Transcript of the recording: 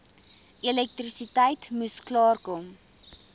elektrisiteit moes klaarkom